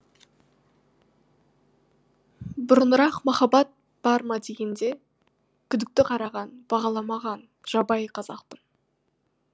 бұрынырақ махаббат бар ма дегенге күдікті қараған бағаламаған жабайы қазақпын